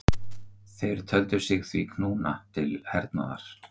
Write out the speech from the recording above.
Þeir töldu sig því knúna til hernaðar.